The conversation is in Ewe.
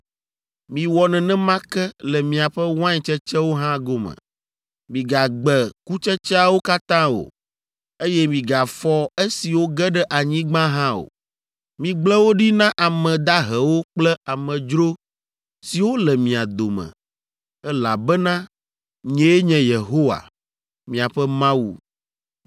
Miwɔ nenema ke le miaƒe wain tsetsewo hã gome. Migagbe kutsetseawo katã o, eye migafɔ esiwo ge ɖe anyigba hã o. Migblẽ wo ɖi na ame dahewo kple amedzro siwo le mia dome, elabena nyee nye Yehowa, miaƒe Mawu.